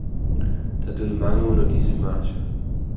Der døde mange under disse marcher.